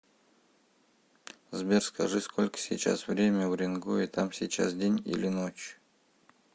сбер скажи сколько сейчас время в уренгое там сейчас день или ночь